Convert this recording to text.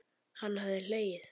Hann hafði hlegið.